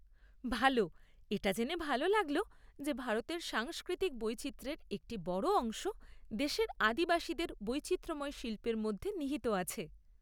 ভাল! এটা জেনে ভালো লাগল যে ভারতের সাংস্কৃতিক বৈচিত্র্যের একটি বড় অংশ দেশের আদিবাসীদের বৈচিত্র্যময় শিল্পের মধ্যে নিহিত আছে।